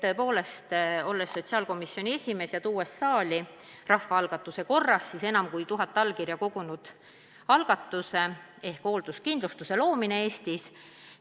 Tõepoolest, ma olin siis sotsiaalkomisjoni esimees, kui tõin siia rahvaalgatuse korras esitatud enam kui tuhat allkirja kogunud algatuse "Hoolduskindlustuse loomine Eestis".